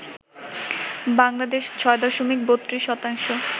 বাংলাদেশ ৬ দশমিক ৩২ শতাংশ